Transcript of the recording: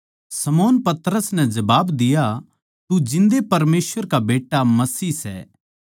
शमौन पतरस नै जबाब दिया तू जिन्दे परमेसवर का बेट्टा मसीह सै